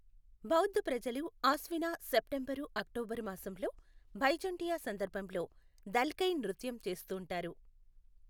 బౌధ్ ప్రజలు ఆస్వినా September October మాసంలో భైఝుంటియా సందర్భంలో దల్కై నృత్యం చేస్తుంటారు.